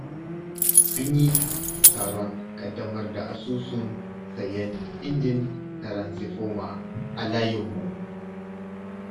An yi taron ƙaddamar da asusun sayen injin taransifoma, a layinmu.